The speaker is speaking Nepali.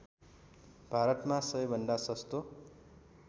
भारतमा सबैभन्दा सस्तो